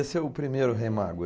Esse é o primeiro Rei Mago.